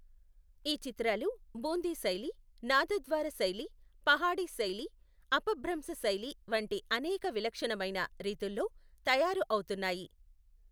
ఈ చిత్రాలు బూందీ శైలి, నాథద్వార శైలి, పహాడీ శైలి, అపభ్రంశ శైలి వంటి అనేక విలక్షణమైన రీతుల్లో తయారు అవుతున్నాయి.